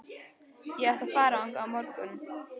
Ég ætla að fara þangað á morgun.